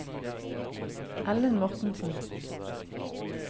Ellen Mortensen